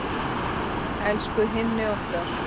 Elsku Hinni okkar.